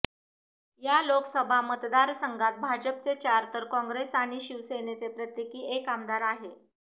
या लोकसभा मतदारसंघात भाजपचे चार तर काँग्रेस आणि शिवसेनेचा प्रत्येकी एक आमदार आहे